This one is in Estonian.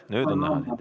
Nüüd on näha sind.